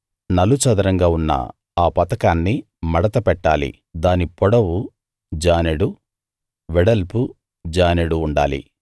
నలుచదరంగా ఉన్న ఆ పతకాన్ని మడత పెట్టాలి దాని పొడవు జానెడు వెడల్పు జానెడు ఉండాలి